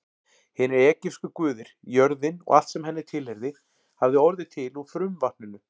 Hinir egypsku guðir, jörðin og allt sem henni tilheyrði, hafði orðið til úr frumvatninu.